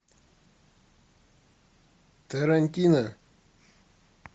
тарантино